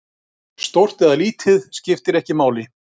Stórt eða lítið, skiptir ekki máli.